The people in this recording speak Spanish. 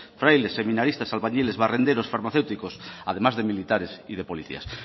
frailes seminaristas albañiles barrenderos farmacéuticos además de militares y de policías